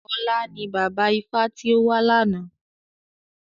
Ọlá ni bàbá ifá tí ó wà lána.